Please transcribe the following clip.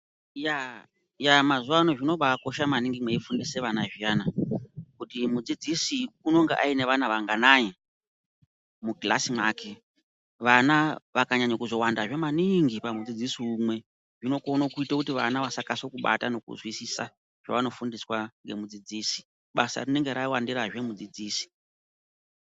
Yaa, yaa, mazuwa ano, zvinobaakosha maningi, mweifundisa vana zviyana, kuti mudzidzisi unonga aine vana vanganai mukilasi mwake. Vana vakanyanya kuzowandazve maniingi pamudzidzisi umwe, zvinokona kuita kuti vana vasakase kubata nokuzwisisa zvevanofundiswa nomudzidzisi. Basa rinenge rawandirazve mudzidzisi.